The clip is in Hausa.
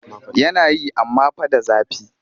Yana yi amma fa da zafi